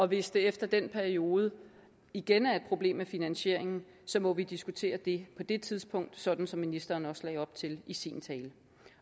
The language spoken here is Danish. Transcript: hvis det efter den periode igen er et problem med finansieringen må vi diskutere det på det tidspunkt sådan som ministeren også lagde op til i sin tale